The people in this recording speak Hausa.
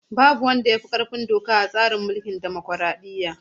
Babu wanda ya fi ƙarfin doka a tsarin mulkin dimokraɗiyya.